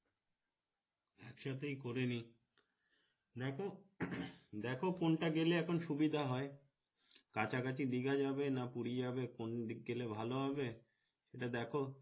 এক সাথেই করে নেই দেখ দেখ কোনটা গেলে এখন সুবিধা হয় কাছা কাছি দীঘা যাবে না পুরি যাবে কোন দিক গেলে ভালো হবে সেটা দেখ